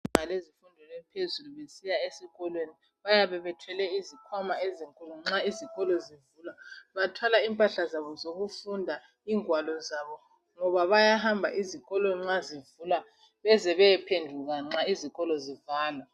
Ngabezinga laphezulu besiya esikolweni bayabe bethwele izikhwama ezinkulu nxa izikolo zivulwa bathwale impahla zabo zokufunda.,ngwalo zabo ngoba bayahamba izikolo zivulwa beze bephenduka nxa izikolo zivalwa.